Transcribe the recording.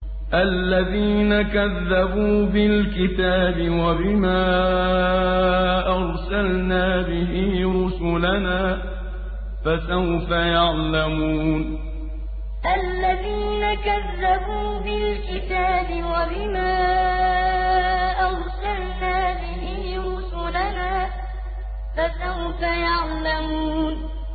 الَّذِينَ كَذَّبُوا بِالْكِتَابِ وَبِمَا أَرْسَلْنَا بِهِ رُسُلَنَا ۖ فَسَوْفَ يَعْلَمُونَ الَّذِينَ كَذَّبُوا بِالْكِتَابِ وَبِمَا أَرْسَلْنَا بِهِ رُسُلَنَا ۖ فَسَوْفَ يَعْلَمُونَ